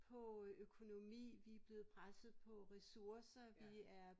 På øh økonomi vi blevet presset på ressourcer vi er